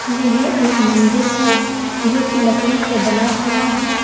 यह एक मंदिर है जो की लकड़ी से बना हुआ है।